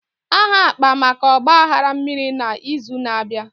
Aha akpa maka Ọgba aghara mmiri na izu na abịa